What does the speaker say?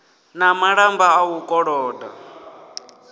na malamba a u koloda